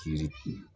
Kiri